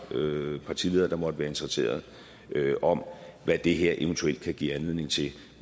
partiledere der måtte være interesserede om hvad det her eventuelt kan give anledning til